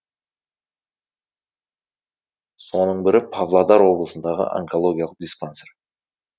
соның бірі павлодар облысындағы онкологиялық диспансер